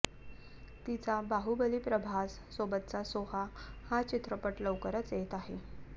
तिचा बाहुबली प्रभास सोबतचा सोहा हा चित्रपट लवकरच येत आहे